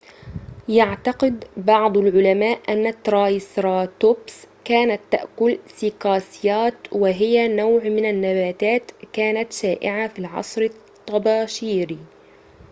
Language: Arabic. يعتقد بعض العلماء أن الترايسراتوبس كانت تأكل سيكاسيات وهي نوع من النباتات كانت شائعة في العصر الطباشيري